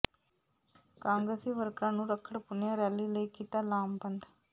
ਕਾਂਗਰਸੀ ਵਰਕਰਾਂ ਨੂੰ ਰੱਖੜ ਪੁੰਨਿਆ ਰੈਲੀ ਲਈ ਕੀਤਾ ਲਾਮਬੰਦ